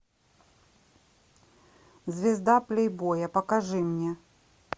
звезда плейбоя покажи мне